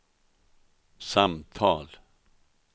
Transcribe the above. samtal